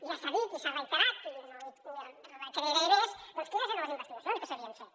ja s’han dit i s’han reiterat i no m’hi recrearé més quines eren les investigacions que s’havien fet